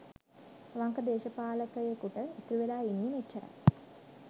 අවංක දේශපාලකයෙකුට ඉතුරුවෙලා ඉන්නේ මෙච්චරයි